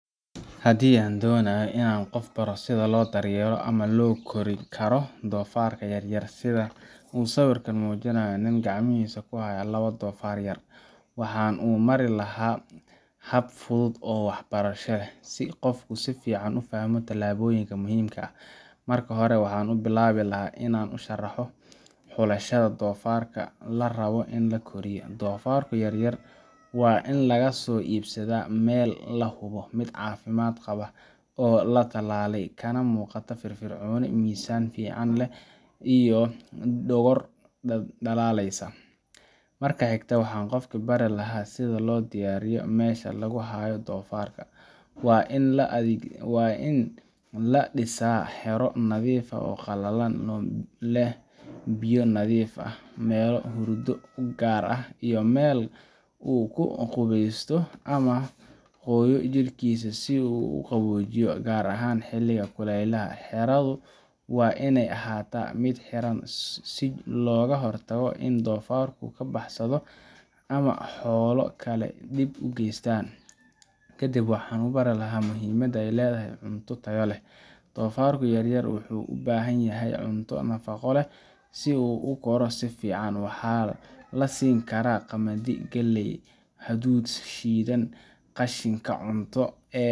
Hadii an donayo in an baro qof sitha lo daryeelayo ama lo korin karo dofarka yar yar sitha wuxuu sawirkan mijinayaa nin lawadisa ganacan kuhayo lawa dofar oo yar yar, waxan u mari laha hab fudud, dofarku yar yar waa in laga so ibsaado meel cafimaad leh, xeraadu waa in ee ahata miid xiran si loga hortago in donfarku kabaxsado ama xolo kale dib u gestan, dofarku yar yar wuxuu u bahan yahay cunto fican sitha galeyda.